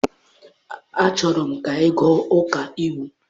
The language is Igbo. Achọrọ m ka ị gụọ ọkaiwu!